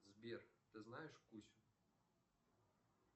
сбер ты знаешь кусю